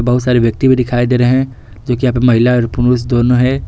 बहुत सारे व्यक्ति भी दिखाई दे रहे हैं जो कि यहाँ पे महिलाएं और पुरुष दोनों है।